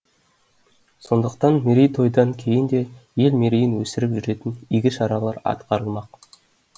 сондықтан мерейтойдан кейін де ел мерейін өсіріп жүретін игі шаралар атқарылмақ